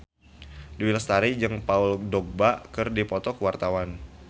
Dewi Lestari jeung Paul Dogba keur dipoto ku wartawan